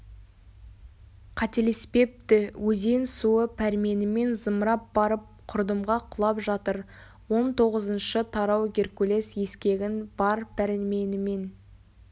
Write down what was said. қателеспепті өзен суы пәрменімен зымырап барып құрдымға құлап жатыр он тоғызыншы тарау геркулес ескегін бар пәрменімен